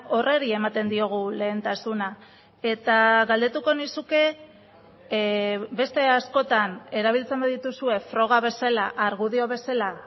horri ematen diogu lehentasuna eta galdetuko nizuke beste askotan erabiltzen badituzue froga bezala argudio bezala